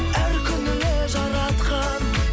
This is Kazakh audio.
әр күніңе жаратқан